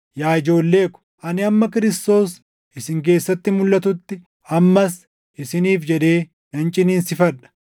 Yaa ijoollee ko, ani hamma Kiristoos isin keessatti mulʼatutti ammas isiniif jedhee nan ciniinsifadha;